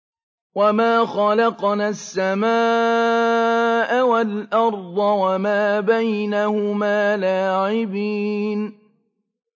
وَمَا خَلَقْنَا السَّمَاءَ وَالْأَرْضَ وَمَا بَيْنَهُمَا لَاعِبِينَ